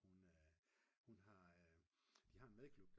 Hun hun har de har en madklub